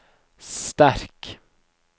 sterk